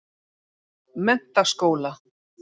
Menntaskóla